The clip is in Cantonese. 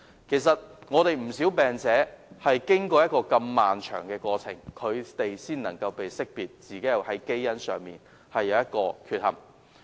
其實，有不少病者是經過如此漫長的過程，才能識別自己的基因出現缺憾。